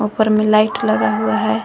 ऊपर में लाइट लगा हुआ है।